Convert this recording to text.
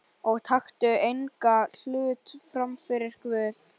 Og taktu engan hlut frammyfir Guð.